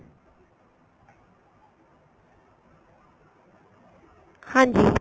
ਹਾਂਜੀ